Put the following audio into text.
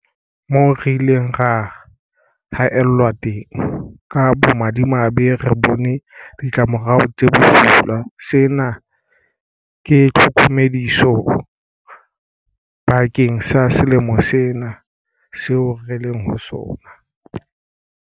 Moo re ileng ra haellwa teng, ka bomadimabe, re bone ditlamorao tse bosula. Sena ke tlhokomediso bakeng sa selemo sena seo re leng ho sona.